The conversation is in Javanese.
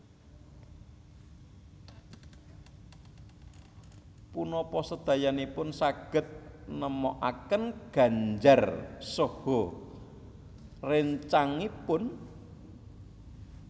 Punapa sedayanipun saged nemokaken Ganjar saha réncangipun